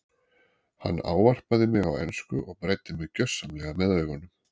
Hann ávarpaði mig á ensku og bræddi mig gjörsamlega með augunum.